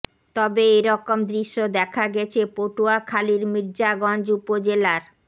তবে এ রকম দৃশ্য দেখা গেছে পটুয়াখালীর মির্জাগঞ্জ উপজেলার